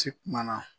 Ci kumana